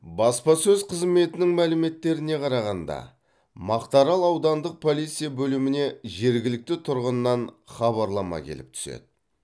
баспасөз қызметінің мәліметтеріне қарағанда мақтаарал аудандық полиция бөліміне жергілікті тұрғыннан хабарлама келіп түседі